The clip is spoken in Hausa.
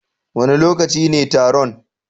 Wane lokaci ne taron?